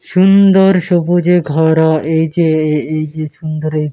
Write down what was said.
সুন্দর সবুজে ভরা এই যে এ-এই যে সুন্দর এই --